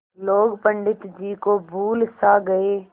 लोग पंडित जी को भूल सा गये